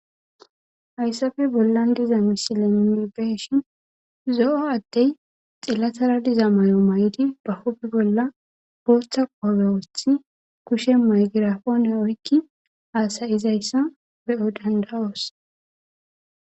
Hayssabe bollan diza misile mibeshin zo7o addey xillatara diza may7o may7di bahobe bolla booththa qobewothi kushe maygirafone oykki haasayizayssa be7o dandawoos.